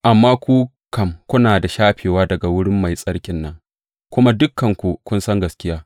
Amma ku kam, kuna da shafewa daga wurin Mai Tsarkin nan, kuma dukanku kun san gaskiya.